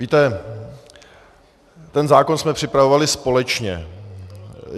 Víte, ten zákon jsme připravovali společně.